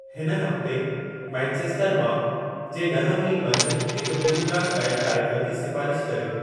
हिन हफ़्ते मैनचेस्टर मा जे ॾह मील मंझि हिक ब्लूग्रास बैंड कार्यक्रम जी सिफ़ारिश कर्यो